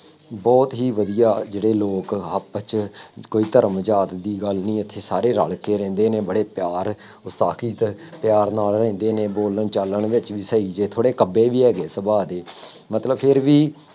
ਬਹੁਤ ਹੀ ਵਧੀਆਂ ਜਿਹੜੇ ਲੋਕ ਆਪਸ ਚ ਕੋਈ ਧਰਮ ਜਾਤ ਦੀ ਗੱਲ ਨਹੀਂ ਇੱਥੇ ਸਾਰੇ ਰਲ ਕੇ ਰਹਿੰਦੇ ਨੇ, ਬੜੇ ਪਿਆਰ ਪਿਆਰ ਨਾਲ ਰਹਿੰਦੇ ਨੇ, ਬੋਲਣ ਚਾਲਣ ਵਿੱਚ ਵੀ ਸਹੀ ਜੇ, ਥੋੜ੍ਹੇ ਕੱਬੇ ਵੀ ਹੈਗੇ ਸੁਭਾਅ ਦੇ, ਮਤਲਬ ਫੇਰ ਵੀ